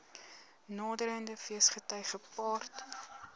naderende feesgety gepaard